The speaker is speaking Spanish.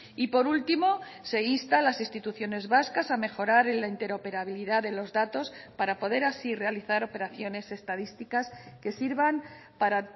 y por último se insta a las instituciones vascas a mejorar en la interoperabilidad de los datos para poder así realizar operaciones estadísticas que sirvan para